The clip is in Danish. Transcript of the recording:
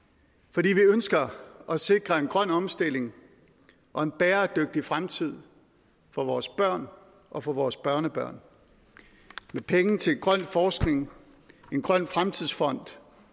fordi vi ønsker at sikre en grøn omstilling og en bæredygtig fremtid for vores børn og for vores børnebørn med penge til grøn forskning en grøn fremtidsfond